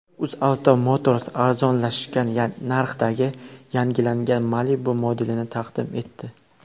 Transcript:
UzAuto Motors arzonlashgan narxdagi yangilangan Malibu modelini taqdim etdi.